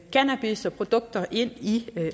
cannabis og produkter ind i